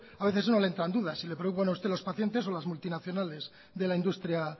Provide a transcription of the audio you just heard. a veces a uno le entran dudas si le preocupan a usted los pacientes o las multinacionales de la industria